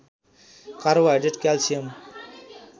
carbohydrate calcium